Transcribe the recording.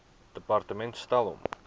departement stel hom